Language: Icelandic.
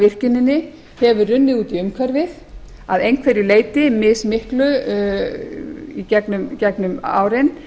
virkjuninni hefur runnið út í umhverfið að einhverju leyti mismiklu í gegnum árin